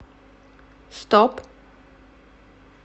стоп